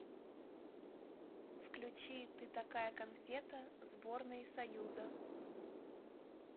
включи ты такая конфета сборной союза